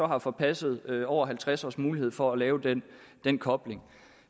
har forpasset over halvtreds års mulighed for at lave den den kobling